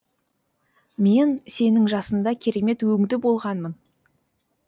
мен сенің жасыңда керемет өңді болғанмын